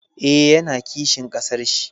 Eh, ya na kishin ƙasar shi